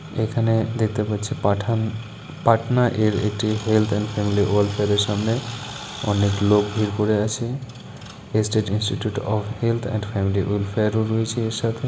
এখানে দেখতে পাচ্ছি পাঠান পাটনা এর এটি health and family wealth fair সামনে অনেক লোক ভিড় করে আছে state institute of health and family welfare -ও রয়েছেএর সাথে